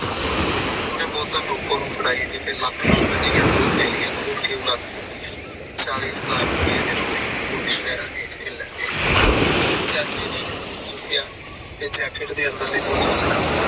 ਓਨੇ bottle ਰੋਪ ਨੂੰ ਫੜਾਇ, ਤੇ ਫੇਰ ਲੱਕ ਨਾਲ ਦੂਜਿਆ ਦੋ ਥੈਲੀਆਂ ਖੋਲ ਕੇ ਉਲੱਦ ਦਿੱਤੀਆਂ ਚਾਲੀ ਹਾਜਰ ਰੁਪਏ ਦੇ ਨੋਟ ਨੂੰ ਰੂਪੋ ਦੇ ਪੈਰਾ ਹੇਠ ਖਿਲਾਰ ਗਏ ਚਾਚੇ ਨੇ ਇਕ ਨੋਟ ਚੁੱਕਿਆ ਤੇ jacket ਦੇ ਅੰਦਲੈ ਬੋਜੇ ਚ ਰੱਖ ਲਿਆ